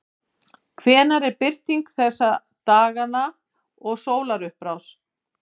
hvenær er birting þessa dagana og sólarupprás